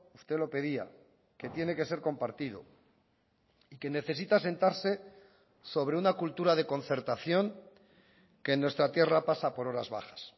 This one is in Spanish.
usted lo pedía que tiene que ser compartido y que necesita asentarse sobre una cultura de concertación que en nuestra tierra pasa por horas bajas